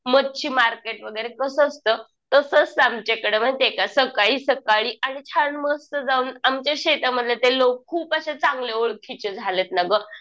मच्छि market वगैरे कसं असतं? तसंच ते आमच्या इकडे माहितीये का? सकाळी सकाळी आणि छान मस्त जाऊन आमच्या शेतामध्ये ते लोक खूप अशा चांगले ओळखीचे झालेत ना गं